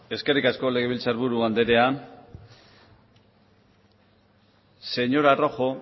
eskerrik asko legebiltzarburu andrea señora rojo